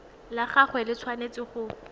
la gagwe le tshwanetse go